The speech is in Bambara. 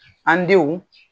An denw.